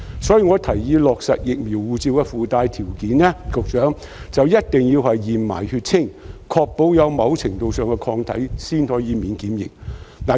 所以，局長，我提議落實"疫苗護照"的附帶條件，一定要同時檢驗血清，確保有某程度上的抗體才可以免檢疫。